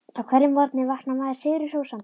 Á hverjum morgni vaknar maður sigri hrósandi.